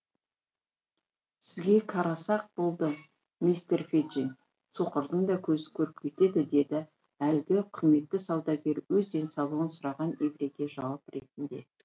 сізге қараса ақ болды мистер феджин соқырдың да көзі көріп кетеді деді әлгі құрметті саудагер өз денсаулығын сұраған еврейге жауап ретінде